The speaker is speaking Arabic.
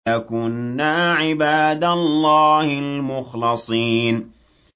لَكُنَّا عِبَادَ اللَّهِ الْمُخْلَصِينَ